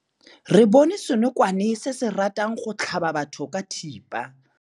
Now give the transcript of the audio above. Re bone senokwane se se ratang go tlhaba batho ka thipa.